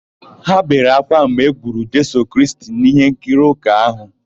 Ha bere ákwá mgbe e gburu Jisọs Kraịst n'íhénkiri ụka áhụ̀.